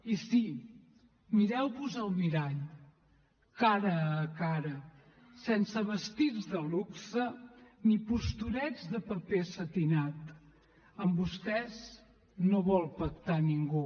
i sí mireu vos al mirall cara a cara sense vestits de luxe ni postureig de paper setinat amb vostès no vol pactar ningú